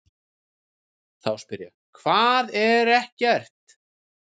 Þá spyr ég: HVAÐ ER EKKERT?